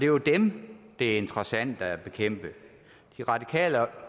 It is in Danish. jo dem det er interessant at bekæmpe de radikale